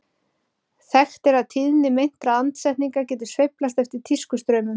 Þekkt er að tíðni meintra andsetninga getur sveiflast eftir tískustraumum.